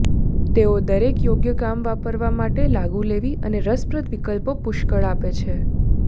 તેઓ દરેક યોગ્ય કામ વાપરવા માટે લાગુ લેવી અને રસપ્રદ વિકલ્પો પુષ્કળ આપે છે